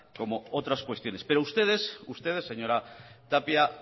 como otras cuestiones pero ustedes ustedes señora tapia